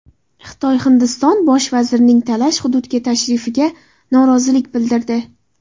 Xitoy Hindiston bosh vazirining talash hududga tashrifiga norozilik bildirdi.